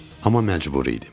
Amma məcbur idim.